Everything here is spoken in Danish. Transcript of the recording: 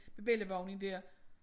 Med bellivognen dér